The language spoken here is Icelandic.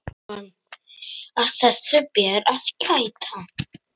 Að þessu ber að gæta.